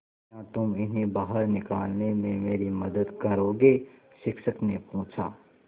क्या तुम इन्हें बाहर निकालने में मेरी मदद करोगे शिक्षक ने पूछा